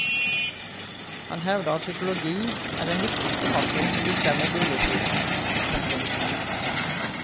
Han hevder at psykologi er den viktigste faktoren som bestemmer boligprisen. punktum